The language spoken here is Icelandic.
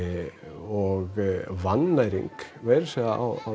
og vannæring meira að segja á